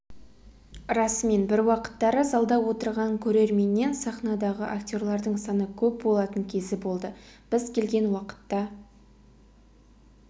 расымен бір уақыттары залда отырған көрерменнен саханадағы актерлардың саны көп болатын кезі болды біз келген уақытта